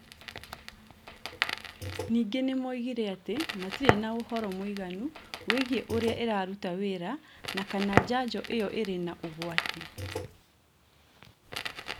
Ningĩ nĩ moigire atĩ matirĩ na ũhoro mũiganu wĩgĩĩ ũrĩa ĩraruta wĩra na kana njanjo ĩo ĩrĩ na ũgwati.